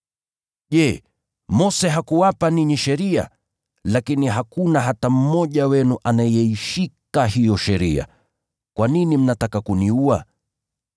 Je, Mose hakuwapa ninyi sheria? Lakini hakuna hata mmoja wenu anayeishika hiyo sheria. Kwa nini mnataka kuniua?”